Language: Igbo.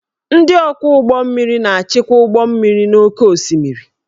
Ndị ọkwọ ụgbọ mmiri na-achịkwa ụgbọ mmiri n'oké osimiri